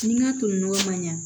Ni n ka toli nɔgɔ man ɲa